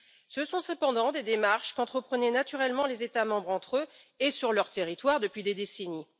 Ce sont cependant des démarches qu'entreprenaient naturellement les États membres entre eux et sur leurs territoires depuis des décennies.